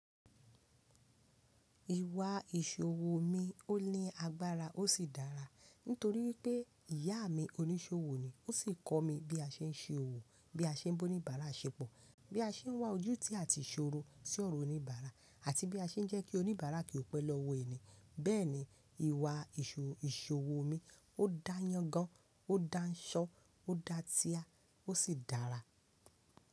Ìwà ìṣòwò mi òní agbára ó sì dára. Nítorí pé ìyá mi oníṣòwò ni ó sì kọ́ mi bí a ṣe ń ṣe òwò, bí a ṣe ń bó oníbàárà ṣepọ̀, bí a ṣe ń wá ojú tí a ti ṣòro sí ọ̀rọ̀ oníbàárà, àti bí a ṣe ń jẹ́ kí oníbàárà kí ó pẹ́ lọ́wọ́ ẹni. Bẹ́ẹ̀ni, ìwà ìṣòwò mi ó dáyán gan, ó dáńṣọ́, ó dá tíà, ó sì dára.